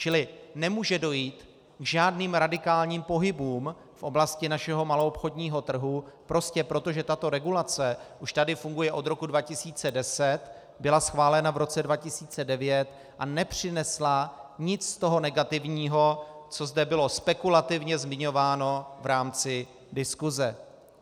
Čili nemůže dojít k žádným radikálním pohybům v oblasti našeho maloobchodního trhu prostě proto, že tato regulace už tady funguje od roku 2010, byla schválena v roce 2009 a nepřinesla nic z toho negativního, co zde bylo spekulativně zmiňováno v rámci diskuse.